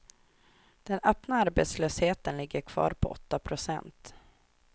Den öppna arbetslösheten ligger kvar på åtta procent.